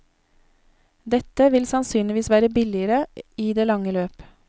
Dette vil sannsynligvis være billigere i det lange løp.